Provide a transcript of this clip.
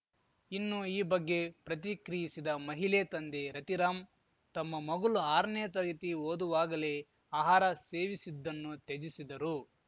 ಇನ್ನು ಈ ಬಗ್ಗೆ ಪ್ರತಿಕ್ರಿಯಿಸಿದ ಮಹಿಲೆ ತಂದೆ ರತಿರಾಮ್‌ ತಮ್ಮ ಮಗಲು ಆರನೇ ತರಗತಿ ಓದುವಾಗಲೇ ಆಹಾರ ಸೇವಿಸಿದ್ದನ್ನು ತ್ಯಜಿಸಿದರು